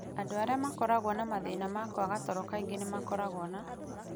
Andũ arĩa makoragwo na mathĩna ma kwaga toro kaingĩ nĩ makoragwo na